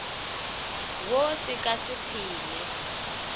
wo se ka se phele